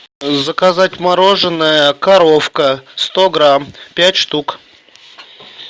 заказать мороженое коровка сто грамм пять штук